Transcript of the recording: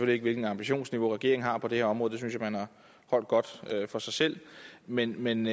ikke hvilket ambitionsniveau regeringen har på det her område det synes jeg man har holdt godt for sig selv men men